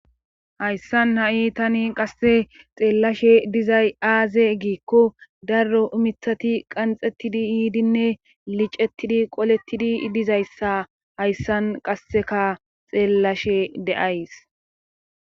Hayssan ha7i tani qasse xeellashe dizay aaze giikko darro umithati qanxettidi yiidinne licettidi qolettidi dizayssa hayssan qasseka xeellashe de7ays